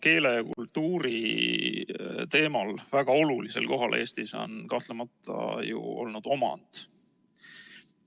Keele ja kultuuri teema kõrval on väga olulisel kohal Eestis olnud kahtlemata omand.